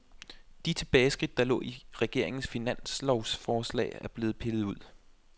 De tilbageskridt, der lå i regeringens finanslovsforslag, er blevet pillet ud.